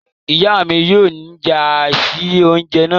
Iya mí yóò nya si oúnjẹ náà